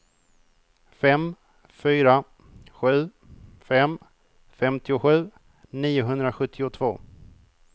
fem fyra sju fem femtiosju niohundrasjuttiotvå